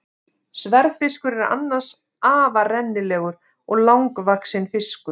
Sverðfiskur er annars afar rennilegur og langvaxinn fiskur.